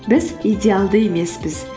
біз идеалды емеспіз